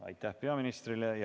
Aitäh peaministrile!